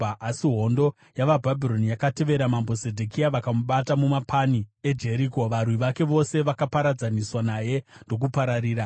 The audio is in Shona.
asi hondo yavaBhabhironi yakatevera Mambo Zedhekia vakamubata mumapani eJeriko. Varwi vake vose vakaparadzaniswa naye ndokupararira,